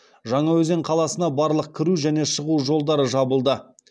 жаңаөзен қаласына барлық кіру және шығу жолдары жабылды